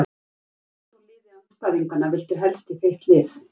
Hvern úr liði andstæðinganna viltu helst í þitt lið?